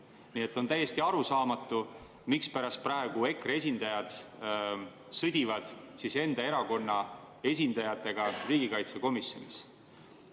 Nii et on täiesti arusaamatu, mispärast EKRE esindajad sõdivad praegu enda erakonna esindajatega riigikaitsekomisjonis.